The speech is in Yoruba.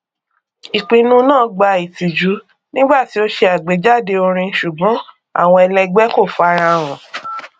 ìpinnu náà gbà ìtìjú nígbà tí ó ṣe àgbéjáde orin ṣùgbọn àwọn ẹlẹgbẹ kò farahàn